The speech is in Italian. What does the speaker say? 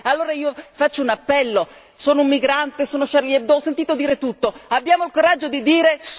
Allora faccio un appello sono un migrante, sono Charlie Hebdo, ho sentito dire tutto, abbiamo il coraggio di dire